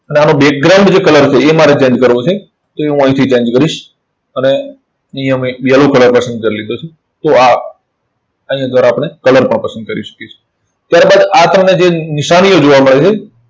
અને આનું જે colour છે એ મારે change કરવો છે. તો એ હું અહીંથી change કરીશ. અને અહીંયા મેં એક yellow colour પસંદ કરી લીધો છે. તો આ આને જરા આપણે colour પણ પસંદ કરી શકીએ છે. ત્યાર બાદ આ તમને જે નિશાનીઓ જોવા મળે છે,